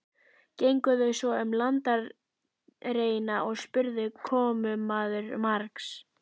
Gengu þau svo um landareignina og spurði komumaður margs.